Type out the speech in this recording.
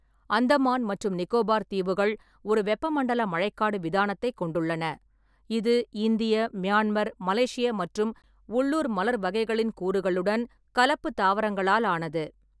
அந்தமான் மற்றும் நிக்கோபார் தீவுகள் ஒரு வெப்பமண்டல மழைக்காடு விதானத்தைக் கொண்டுள்ளன, இது இந்திய, மியான்மர், மலேசிய மற்றும் உள்ளூர் மலர் வகைகளின் கூறுகளுடன் கலப்பு தாவரங்களால் ஆனது.